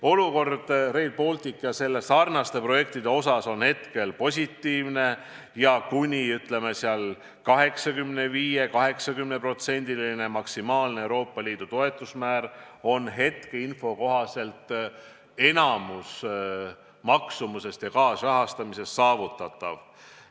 Olukord Rail Balticu ja sellesarnaste projektide osas on hetkel positiivne ning 80–85%-line maksimaalne Euroopa Liidu toetusmäär on hetkeinfo kohaselt – mis puudutab maksumust ja kaasrahastust – saavutatav.